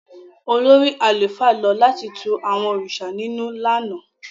Olórí àlùfáà lọ láti tù àwọn òrìṣà ninù lánàá.